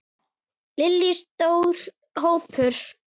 Lillý: Stór hópur?